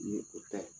Nin ye o ta ye